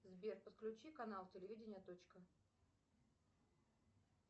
сбер подключи канал телевидения точка